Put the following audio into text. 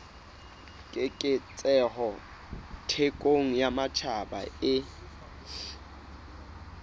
keketseho thekong ya matjhaba e